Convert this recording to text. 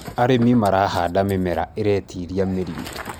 arĩmi marahanda mĩmera ĩretĩĩria mĩrimũ